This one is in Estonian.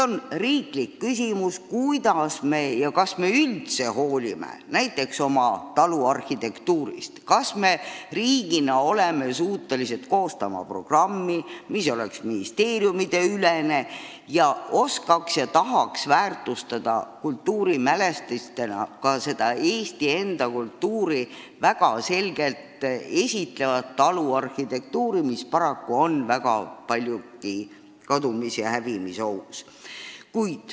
On riiklikult tähtis küsimus, kas me hoolime näiteks oma taluarhitektuurist, kas me riigina oleme suutelised koostama programmi, mis oleks ministeeriumideülene ning väärtustaks kultuurimälestistena ka Eesti kultuuri väga selgelt esindavat taluarhitektuuri, mis paraku on paljuski kadumis- ja hävimisohus.